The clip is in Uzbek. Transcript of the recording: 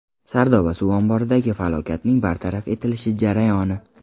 Sardoba suv omboridagi falokatning bartaraf etilish jarayoni.